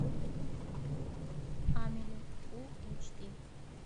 амели фул эйч ди